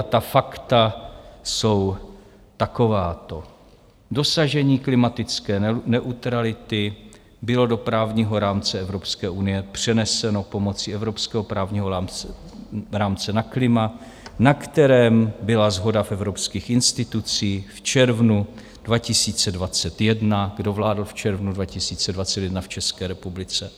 A ta fakta jsou takováto: Dosažení klimatické neutrality bylo do právního rámce Evropské unie přeneseno pomocí evropského právního rámce na klima, na kterém byla shoda v evropských institucích, v červnu 2021 - kdo vládl v červnu 2021 v České republice?